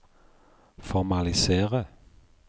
formalisere